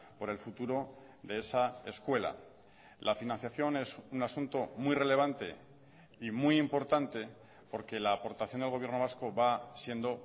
por el futuro de esa escuela la financiación es un asunto muy relevante y muy importante porque la aportación del gobierno vasco va siendo